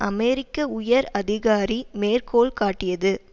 அமெரிக்க உயர் அதிகாரி மேற்கோள்காட்டியது